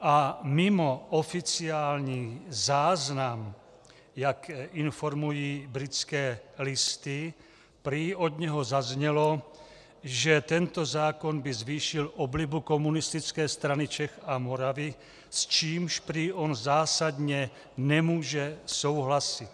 A mimo oficiální záznam, jak informují Britské listy, prý od něho zaznělo, že tento zákon by zvýšil oblibu Komunistické strany Čech a Moravy, s čímž prý on zásadně nemůže souhlasit.